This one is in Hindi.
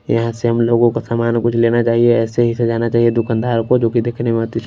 यहां से हम लोगों को सामान कुछ लेना चाहिए ऐसे ही सजाना चाहिए दुकानदार को जोकि देखने में--